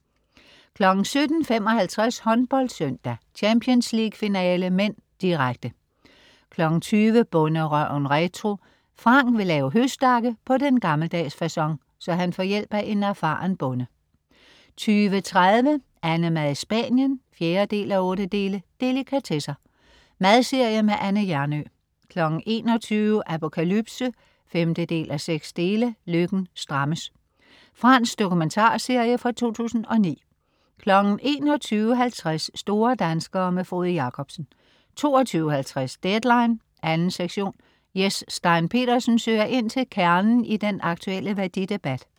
17.55 HåndboldSøndag: Champions League finale (m), direkte 20.00 Bonderøven retro. Frank vil lave høstakke på den gammeldags facon, så han får hjælp af en erfaren bonde 20.30 AnneMad i Spanien 4:8. Delikatesser. Madserie med Anne Hjernøe 21.00 Apokalypse 5:6. Løkken strammes. Fransk dokumentarserie fra 2009 21.50 Store danskere. Frode Jakobsen 22.50 Deadline 2. sektion. Jes Stein Pedersen søger ind til kernen i den aktuelle værdidebat